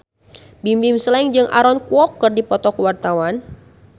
Bimbim Slank jeung Aaron Kwok keur dipoto ku wartawan